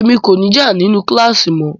Emi ko ni já ninu kílàsì mọ o.